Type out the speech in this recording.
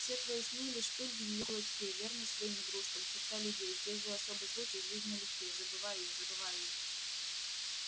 все твои сны лишь пыль в её кулачке верность своим игрушкам черта людей здесь же особый случай жизнь налегке забывай её забывай её